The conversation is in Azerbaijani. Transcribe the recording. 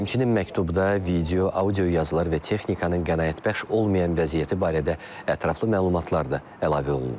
Həmçinin məktubda video, audio yazılar və texnikanın qaneedici olmayan vəziyyəti barədə ətraflı məlumatlar da əlavə olunub.